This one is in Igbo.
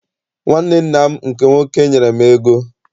Nwanne nna m nke nwoke nyere m ego.